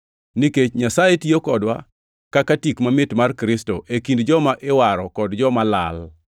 Nikech Nyasaye tiyo kodwa kaka tik mamit mar Kristo e kind joma iwaro kod joma lal.